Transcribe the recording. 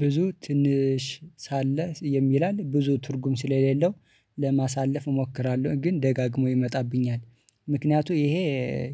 ብዙ ትንሽ ሳለ የሚላል ብዙ ትርጉም ስለሌለው ለማሳለፍ እሞክራለሁ ግን ደጋግሞ ይመጣብኛል። ምክንያቱ ይሄ